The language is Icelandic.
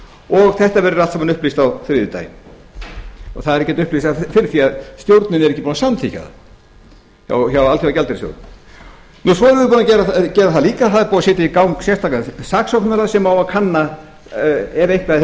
og þetta verður allt saman upplýst á þriðjudaginn það er ekki hægt að upplýsa það fyrr því að stjórnin er ekki búin að samþykkja það hjá alþjóðagjaldeyrissjóðnum svo erum við búin að gera það líka að það er búið að setja í gang sérstakan saksóknara sem á að kanna ef eitthvað